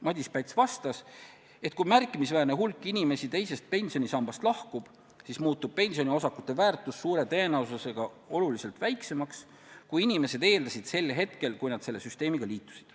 Madis Päts vastas, et kui märkimisväärne hulk inimesi teisest pensionisambast lahkub, siis muutub pensioniosakute väärtus suure tõenäosusega oluliselt väiksemaks, kui inimesed eeldasid sel hetkel, kui nad selle süsteemiga liitusid.